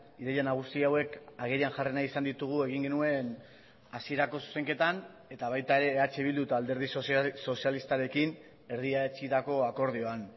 ideia nagusi hauek agerian jarri nahi izan ditugu egin genuen hasierako zuzenketan eta baita ere eh bildu eta alderdi sozialistarekin erdietsitako akordioan